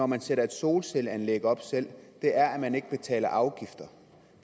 man sætter et solcelleanlæg op selv er at man ikke betaler afgifter